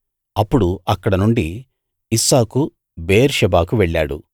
అప్పుడు అక్కడనుండి ఇస్సాకు బెయేర్షెబాకు వెళ్ళాడు